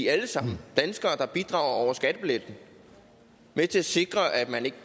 alle sammen danskere der bidrager over skattebilletten med til at sikre at man ikke